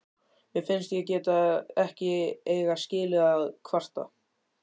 Mér finnst ég ekki eiga skilið að kvarta.